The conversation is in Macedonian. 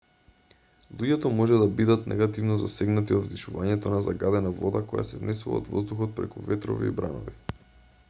луѓето може да бидат негативно засегнати од вдишувањето на загадена вода која се внесува од воздухот преку ветрови и бранови